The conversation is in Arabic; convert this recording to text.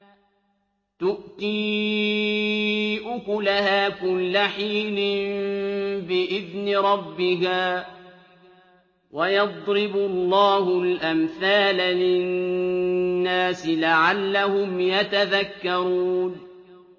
تُؤْتِي أُكُلَهَا كُلَّ حِينٍ بِإِذْنِ رَبِّهَا ۗ وَيَضْرِبُ اللَّهُ الْأَمْثَالَ لِلنَّاسِ لَعَلَّهُمْ يَتَذَكَّرُونَ